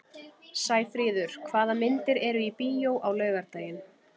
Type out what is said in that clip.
Sæfríður, hvaða myndir eru í bíó á laugardaginn?